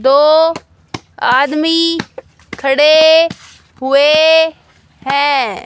दो आदमी खड़े हुए हैं।